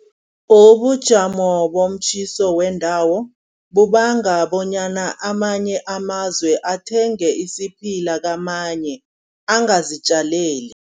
Ubujamo bomtjhiso wendawo kubanga bonyana amanye amazwe athenge isiphila kamanye angazitjaleli.